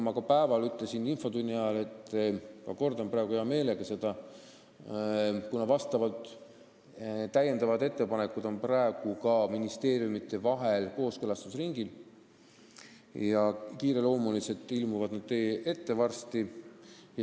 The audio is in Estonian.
Ma ka infotunnis ütlesin ja ma kordan seda praegu heameelega, et täiendavad ettepanekud on praegu ministeeriumides kooskõlastusringil, kiireloomulisena tulevad nad varsti teie ette.